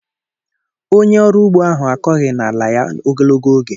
Onye ọrụ ugbo ahụ akọghị n'ala ya ogologo oge.